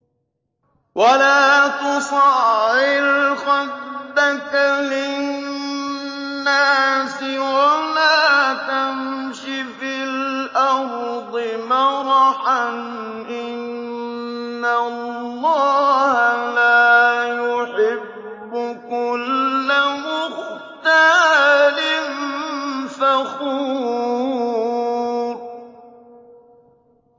وَلَا تُصَعِّرْ خَدَّكَ لِلنَّاسِ وَلَا تَمْشِ فِي الْأَرْضِ مَرَحًا ۖ إِنَّ اللَّهَ لَا يُحِبُّ كُلَّ مُخْتَالٍ فَخُورٍ